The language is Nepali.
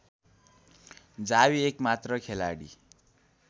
जावी एकमात्र खेलाडी